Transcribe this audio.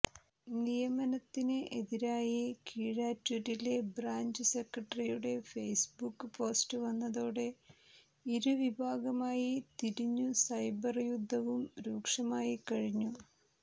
നിയമനത്തിന് എതിരായി കീഴാറ്റൂരിലെ ബ്രാഞ്ച് സെക്രട്ടറിയുടെ ഫേസ്ബുക്ക് പോസ്റ്റു വന്നതോടെ ഇരുവിഭാഗമായി തിരിഞ്ഞു സൈബർ യുദ്ധവും രൂക്ഷമായിക്കഴിഞ്ഞു